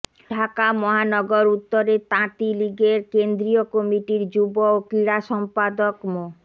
ঢাকা মহানগর উত্তরের তাঁতি লীগের কেন্দ্রীয় কমিটির যুব ও ক্রীড়া সম্পাদক মো